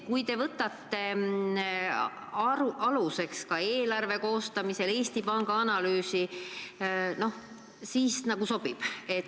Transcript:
Kui te võtate eelarve koostamisel aluseks Eesti Panga analüüsi, siis see nagu sobib.